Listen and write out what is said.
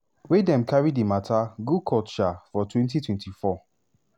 wey dem carry di mata go court um for 2024.